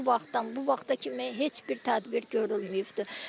O vaxtdan bu vaxta kimi heç bir tədbir görülməyibdir.